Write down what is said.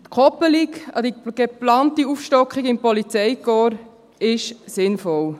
Die Koppelung an die geplante Aufstockung im Polizeikorps ist sinnvoll.